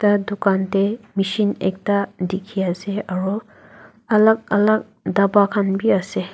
dukan dae machine ekta dekhe ase aro alak alak daba khan bhi ase.